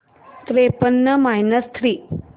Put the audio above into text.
त्रेपन्न minus three